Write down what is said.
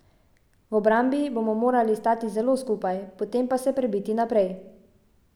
V obrambi bomo morali stati zelo skupaj, potem pa se prebiti naprej.